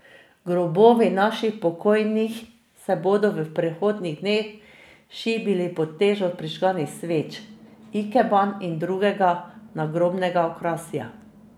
Grobovi naših pokojnih se bodo v prihodnjih dneh šibili pod težo prižganih sveč, ikeban in drugega nagrobnega okrasja.